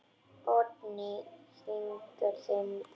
Oddný þvingar fram bros.